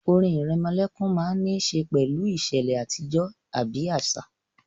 Orin ìrẹmọlẹ́kún máa n ní ṣe pẹ̀lú ìṣẹ̀lẹ̀ àtijọ́ àbí àṣà